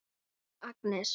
Nú, Agnes.